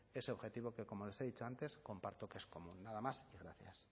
ese objetivo que como les he dicho antes comparto que es común nada más gracias